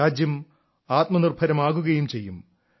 രാജ്യം ആത്മനിർഭരമാകുകയും ചെയ്യും